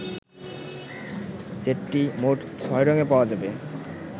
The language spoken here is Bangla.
সেটটি মোট ছয় রঙে পাওয়া যাবে।